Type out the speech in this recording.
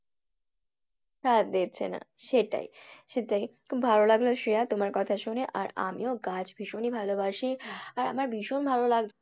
সাথ দিচ্ছে না সেটাই সেটাই খুব ভালো লাগলো শ্রেয়া তোমার কথা শুনে আর আমিও গাছ ভীষণই ভালোবাসি আর আমার ভীষণ ভালো লাগছে